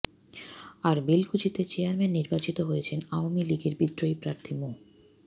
আর বেলকুচিতে চেয়ারম্যান নির্বাচিত হয়েছেন আওয়ামী লীগের বিদ্রোহী প্রার্থী মো